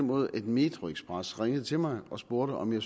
måde at metroxpress ringede til mig og spurgte om jeg